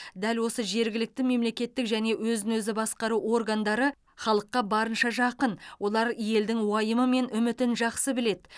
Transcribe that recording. дәл осы жергілікті мемлекеттік және өзін өзі басқару органдары халыққа барынша жақын олар елдің уайымы мен үмітін жақсы біледі